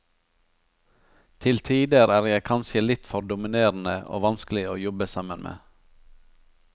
Til tider er jeg kanskje litt for dominerende og vanskelig å jobbe sammen med.